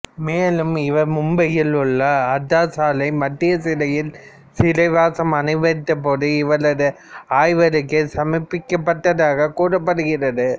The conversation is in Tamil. மேலும் இவர் மும்பையில் உள்ள ஆர்தர் சாலை மத்திய சிறையில் சிறைவாசம் அனுபவித்தபோது இவரது ஆய்வறிக்கை சமர்ப்பிக்கப்பட்டதாக கூறப்படுகிறது